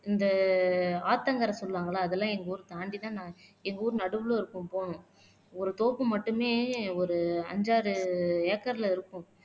இந்த ஆத்தங்கரை சொல்லுவாங்கல்ல அதெல்லாம் எங்க ஊரை தாண்டிதான் நான் எங்க ஊரு நடுவிலே இருக்கும் போகணும் ஒரு தோப்பு மட்டுமே ஒரு அஞ்சு ஆறு ஏக்கர்ல இருக்கும்